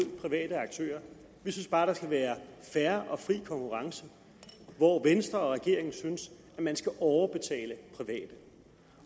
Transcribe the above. private aktører vi synes bare der skal være fair og fri konkurrence hvor venstre og regeringen synes at man skal overbetale private